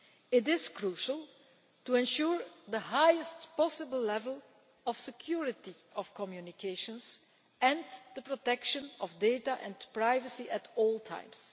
It is crucial to ensure the highest possible level of security of communications and the protection of data and privacy at all times.